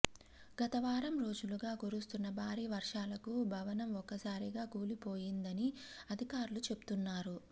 గతవారం రోజులుగా కురుస్తున్న భారీ వర్షాలకు భవనం ఒక్కసారిగా కూలిపోయిందని అధికారులు చెబుతున్నారు